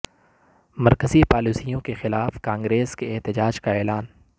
مرکز ی پالیسیوں کے خلاف کانگریس کے احتجاج کا اعلان